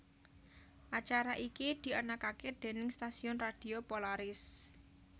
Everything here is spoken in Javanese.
Acara iki dianakake déning stasiun radio Polaris